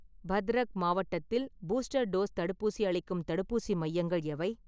பத்ரக் மாவட்டத்தில் booster dose தடுப்பூசி அளிக்கும் தடுப்பூசி மையங்கள் எவை?